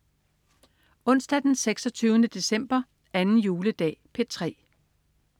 Onsdag den 26. december. 2. juledag - P3: